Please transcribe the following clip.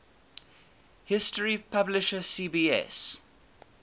history publisher cbs